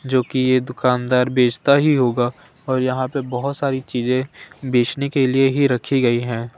जो कि ये दुकानदार बेचता ही होगा और यहां पे बहुत सारी चीजें बेचने के लिए ही रखी गई हैं।